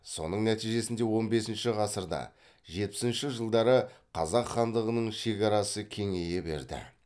соның нәтижесінде он бесінші ғасырда жетпісінші жылдары қазақ хандығының шекарасы кеңейе берді